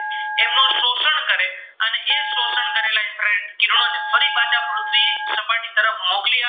મોકલી આપ